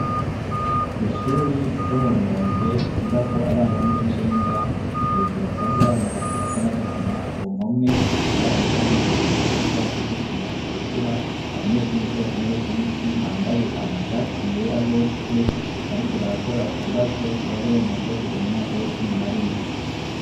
Kw'ishure ryo mu Rumonge ryigako abana bo muw'icenda hejuru hasanzwe hari amabati asa n'agahama ku mpome ibara risa n'umuhondo, hasi hasize isima itukura abanyeshure bicaye ku ntebe z'ibiti bambaye amashati yera bose bariko barakora ikibazo kibaha uburenganzira bwo kuja mu mwaka w'icumi na rimwe.